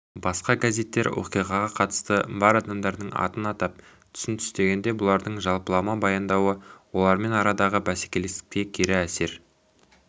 басқа газеттер оқиғаға қатысы бар адамдардың атын атап түсін түстегенде бұлардың жалпылама баяндауы олармен арадағы бәсекелестіктеріне кері әсер